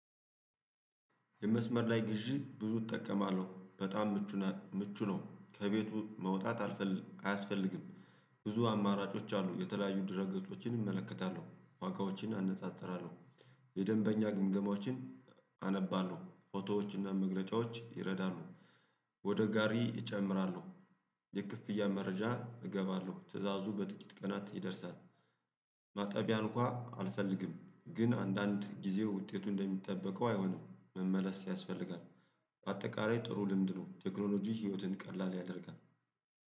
የመስመር ላይ ግዢ ብዙ እጠቀማለሁ በጣም ምቹ ምቹ ነው ከቤቱ መውጣት አያስፈልግም። ብዙ አማራጮች አሉ የተለያዩ ድረገጾችን እመለከታለሁ ዋጋዎችን አነጣጥራለሁ። የደንበኛ ግምገማዎችን አነባለሁ ፎቶዎችና መግለጫዎች ይረዳሉ። ወደ ጋሪ እጨምራለሁ። የክፍያ መረጃ እገባለሁ ትእዛዙ በጥቂት ቀናት ይደርሳል። ማጠቢያ እንኳን አልፈልግም ግን አንዳንድ ጊዜው ውጤቱ እንደሚጠበቀው አይሆንም መመለስ ያስፈልጋል። በአጠቃላይ ጥሩ ልምድ ነው። ቴክኖሎጂ ህይወትን ቀላል ያደርጋል።